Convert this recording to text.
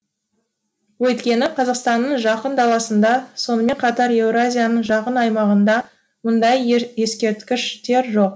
өйткені қазақстанның жақын даласында сонымен қатар еуразияның жақын аймағында мұндай ескерткіштер жоқ